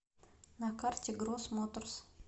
на карте гросс моторс